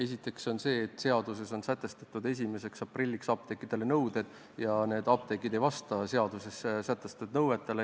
Esiteks on põhjus selles, et seaduses on sätestatud 1. aprillil apteekidele kehtima hakkavad nõuded, kuid apteegid ei vasta neile nõuetele.